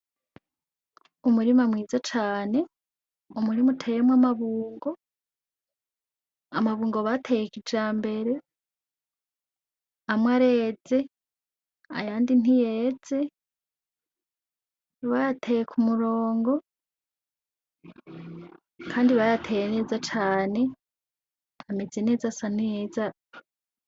Umurima mwiza cane, umurima utewemwo amabungo amabungo bateye kijambere amwe areze ayandi ntiyeze ,bayateye kumurongo Kandi bayateye neza cane ,ameze neza ,asa neza.